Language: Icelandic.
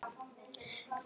En mér fannst það gaman.